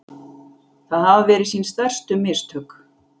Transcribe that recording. Það hafi verið sín stærstu mistök